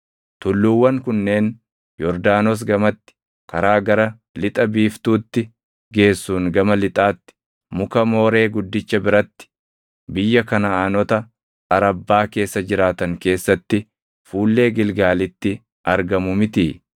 Tulluuwwan kunneen Yordaanos gamatti, karaa gara lixa biiftuutti geessuun gama lixaatti, muka Mooree guddicha biratti, biyya Kanaʼaanota Arabbaa keessa jiraatan keessatti fuullee Gilgaalitti argamu mitii?